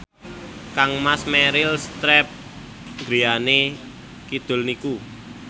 kangmas Meryl Streep griyane kidul niku